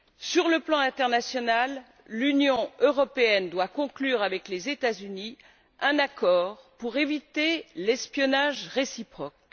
Sur le plan international, l'Union européenne doit conclure, avec les États Unis, un accord pour éviter l'espionnage réciproque.